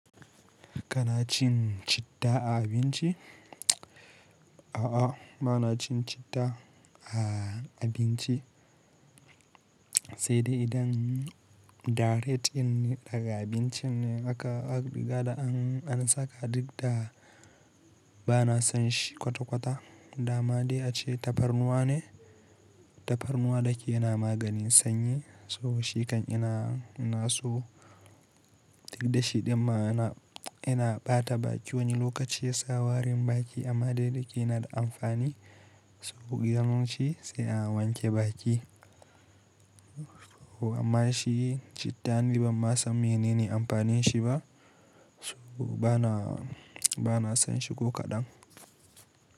Kana cin citta a abinci? A'a, ba na cin citta a abinci. Sai dai idan direct dinne daga abincin ne aka gaba an saka duk da ba na san shi kwata-kwata. Da ma daya ce tafarnuwa ne, tafarnuwa da ke yana maganin sanyi, so shikan ina naso duk da shi, inda ma ina, ina ɓata baki wani lokaci ya sa warin baki amma dai da ke yana da amfani. So gyarun shi sai a wanke baki. Amma shi cittan ni ban san menene amfanin shi ba. So ba na, ba na san shi ko kaɗan.